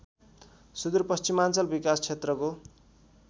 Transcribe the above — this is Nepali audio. सुदूरपश्चिमाञ्चल विकासक्षेत्रको